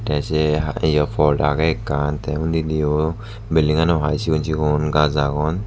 te sey hai eyo pot agey ekkan te unninnio belding ano hai sigon sigon gaj agon.